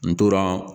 N tora